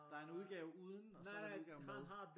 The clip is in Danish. Der er en udgave uden og så er der en udgave med